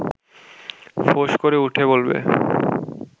ফোঁস করে উঠে বলবে